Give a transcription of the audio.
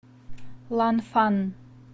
ланфан